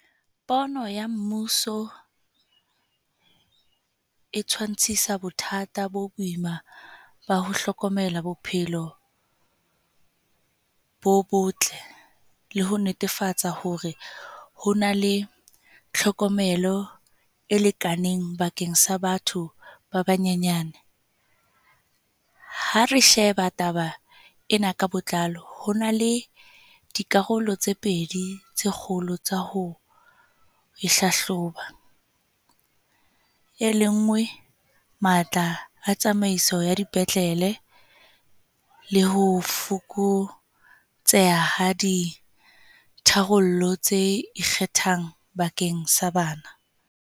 Pono ya mmuso e tshwantshisa bothata bo boima ba ho hlokomela bophelo bo botle. Le ho netefatsa hore ho na le tlhokomelo e lekaneng bakeng sa batho ba banyenyane. Ha re sheba taba ena ka botlalo ho na le dikarolo tse pedi tse kgolo tsa ho ho e hlahloba. E le ngwe matla a tsamaiso ya dipetlele le ho fokotseha ha ditharollo tse ikgethang bakeng sa bana.